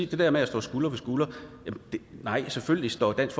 det der med at stå skulder ved skulder nej selvfølgelig står dansk